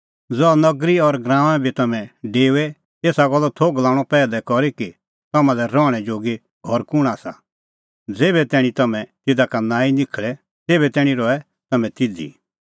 ज़हा नगरी और गराऊंऐं बी तम्हैं डेओए एसा गल्लो थोघ लणअ पैहलै करी कि तम्हां लै रहणैं जोगी घर कुंण आसा ज़ेभै तैणीं तम्हैं तिधा का नांईं निखल़े तेभै तैणीं रहै तम्हैं तिधी